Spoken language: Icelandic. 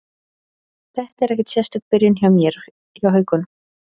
Þetta er ekkert sérstök byrjun hjá mér hjá Haukum.